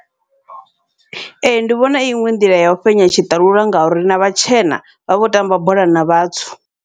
Ee, ndi vhona i iṅwe nḓila yau fhenya tshiṱalula, ngauri na vhatshena vha vho tamba bola na vhatswu.